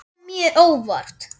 Þetta kom mjög á óvart.